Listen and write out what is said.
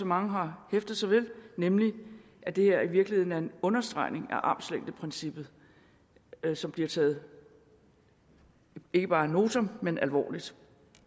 mange har hæftet sig ved nemlig at det her i virkeligheden er en understregning af armslængdeprincippet som bliver taget ikke bare ad notam men alvorligt